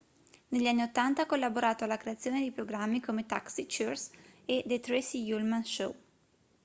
negli anni 80 ha collaborato alla creazione di programmi come taxi cheers e the tracey ullman show